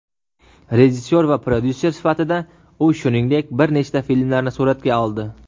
Rejissyor va prodyuser sifatida u shuningdek bir nechta filmlarni suratga oldi.